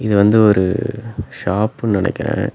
இது வந்து ஒரு ஷாப்புன்னு நெனைக்கற.